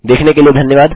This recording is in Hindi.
देखने के लिए धन्यवाद